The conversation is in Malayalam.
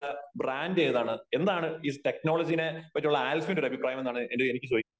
ബ്രാൻഡ് ഏതാണ് ? എന്താണ് ഈ ടെക്നോളജിനെ പറ്റിയുള്ള ആൽഫിന്റെ ഒരു അഭിപ്രായ എന്നാണ് എനിക്ക് ചോദിക്കാന്